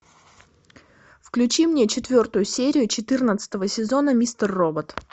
включи мне четвертую серию четырнадцатого сезона мистер робот